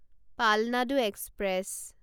Palnadu express